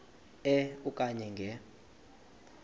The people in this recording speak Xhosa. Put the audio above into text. e okanye nge